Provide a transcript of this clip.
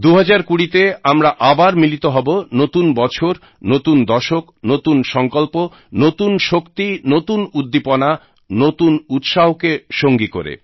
২০২০তে আমরা আবার মিলিত হব নতুন বছর নতুন দশক নতুন সঙ্কল্প নতুন শক্তি নতুন উদ্দীপনা নতুন উৎসাহকে সঙ্গী করে